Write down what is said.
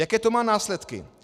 Jaké to má následky?